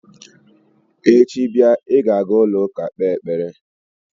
Echi bịa, ị ga-aga ụlọụka kpee ekpere!